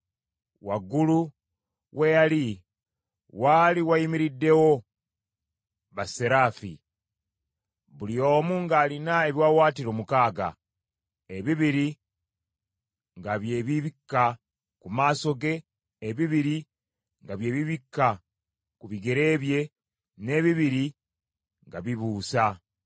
Waggulu we yali waali wayimiriddewo basseraafi: buli omu ng’alina ebiwaawaatiro mukaaga, ebibiri nga bye bibikka ku maaso ge, ebibiri nga bye bibikka ku bigere bye, n’ebibiri ng’abibuusa.